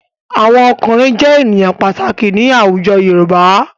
Àwọn ọkùnrin jẹ́ ènìyàn pàtàkì ní àwùjọ Yorùbá.